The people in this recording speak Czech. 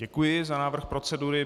Děkuji za návrh procedury.